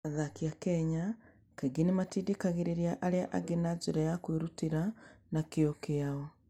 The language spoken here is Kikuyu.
Athaki a Kenya kaingĩ nĩ matindĩkagĩrĩria arĩa angĩ na njĩra ya kwĩrutĩra na kĩyo kĩao.